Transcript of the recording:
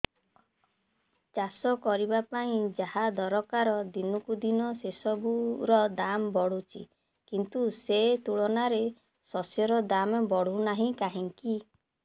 ଚାଷ କରିବା ପାଇଁ ଯାହା ଦରକାର ଦିନକୁ ଦିନ ସେସବୁ ର ଦାମ୍ ବଢୁଛି କିନ୍ତୁ ସେ ତୁଳନାରେ ଶସ୍ୟର ଦାମ୍ ବଢୁନାହିଁ କାହିଁକି